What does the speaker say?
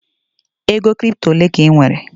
ego crypto ole ka anyị nwere?